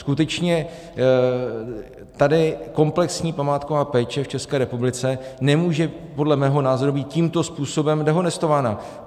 Skutečně tady komplexní památková péče v České republice nemůže podle mého názoru být tímto způsobem dehonestována.